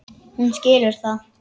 Hún skilur það.